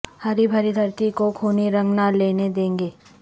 ہری بھری دھرتی کو خونی رنگ نہ لینے دیں گے